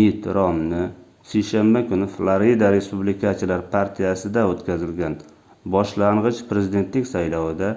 mitt romni seshanba kuni florida respublikachilar partiyasida oʻtkazilgan boshlangʻich prezidentlik saylovida